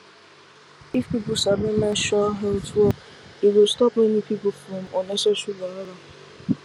if people sabi menstrual health well e go stop many people from unnecessary wahala